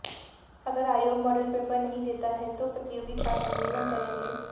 अगर आयोग model paper नहीं देता है तो प्रतियोगी छात्र आंदोलन करेेंगे